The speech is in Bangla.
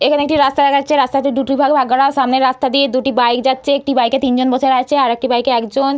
এখানে একটি রাস্তা দেখা যাচ্ছে রাস্তাটি দুটি ভাগে ভাগ করা সামনের রাস্তা দিয়ে দুটি বাইক যাচ্ছে। একটি বাইকে তিনজন বসে আছে। একটি বাইকে একজন--